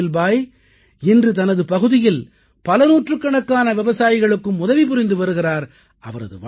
இஸ்மாயில் பாய் இன்று தனது பகுதியில் பல நூற்றுக்கணக்கான விவசாயிகளுக்கும் உதவி புரிந்து வருகிறார்